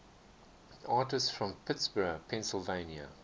artists from pittsburgh pennsylvania